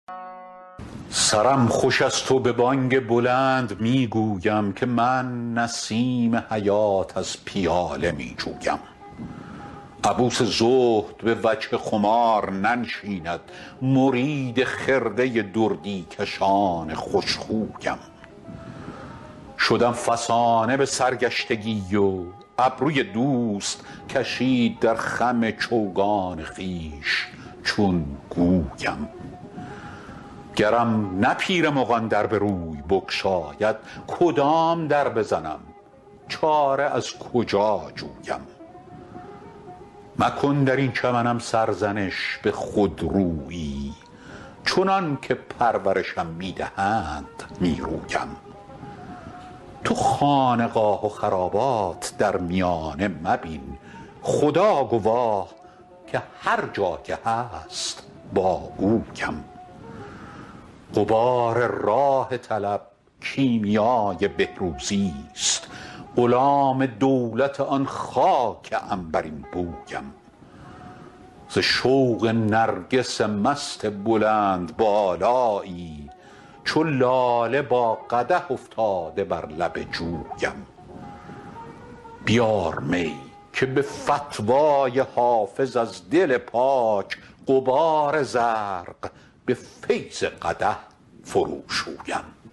سرم خوش است و به بانگ بلند می گویم که من نسیم حیات از پیاله می جویم عبوس زهد به وجه خمار ننشیند مرید خرقه دردی کشان خوش خویم شدم فسانه به سرگشتگی و ابروی دوست کشید در خم چوگان خویش چون گویم گرم نه پیر مغان در به روی بگشاید کدام در بزنم چاره از کجا جویم مکن در این چمنم سرزنش به خودرویی چنان که پرورشم می دهند می رویم تو خانقاه و خرابات در میانه مبین خدا گواه که هر جا که هست با اویم غبار راه طلب کیمیای بهروزیست غلام دولت آن خاک عنبرین بویم ز شوق نرگس مست بلندبالایی چو لاله با قدح افتاده بر لب جویم بیار می که به فتوی حافظ از دل پاک غبار زرق به فیض قدح فروشویم